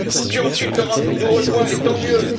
Puis, ensuite, l'Europe nous rejoint et tant mieux!